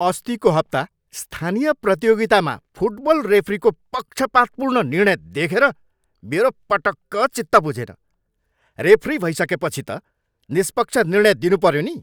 अस्तिको हप्ता स्थानीय प्रतियोगितामा फुटबल रेफ्रीको पक्षपातपूर्ण निर्णय देखेर मेरो पटक्क चित्त बुझेन। रेफ्री भइसकेपछि त निष्पक्ष निर्णय दिनुपऱ्यो नि!